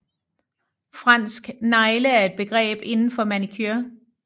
Fransk negle er et begreb inden for manicure